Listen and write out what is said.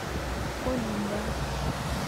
олинда